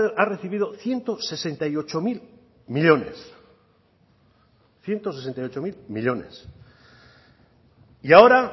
ha recibido ciento sesenta y ocho mil millónes y ahora